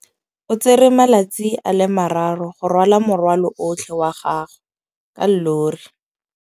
O tsere malatsi a le marraro go rwala morwalo otlhe wa gagwe ka llori.